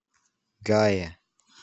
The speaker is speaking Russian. гае